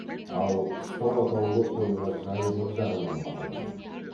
ал қыстау атаулы қойға жайлылық жағынан бағаланады